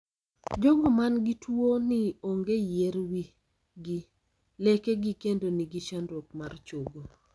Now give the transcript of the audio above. Jogo man gi tuo ni ong'e yier wi gi, leke gi kendo ni gi chandruok mar chogo.